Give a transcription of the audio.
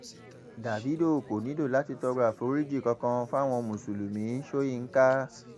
davido kò nílò láti tọrọ àforíjì kankan fáwọn mùsùlùmí sọ̀yìnkà